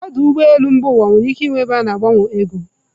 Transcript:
Ọdụ ụgbọ elu mba ụwa nwere ike ịnwe ebe a ga-agbanwe ego